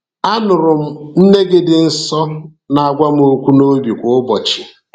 Anụrụ m nne gị dị nsọ na-agwa m okwu n’obi kwa ụbọchị.